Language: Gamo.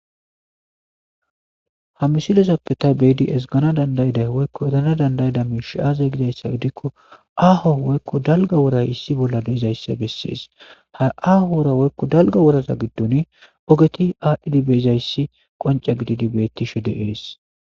Ha misilezape ta beyada ezgana danda'ida woyko erana danda'ida mishi aze gikon aho woyko dalga woray issi bolla de'izaysa besses ha aho woylo dalga woraza gidoni ogeti adhidi bizaysi qonce gididi beetishe de'es.